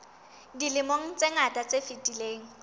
dilemong tse ngata tse fetileng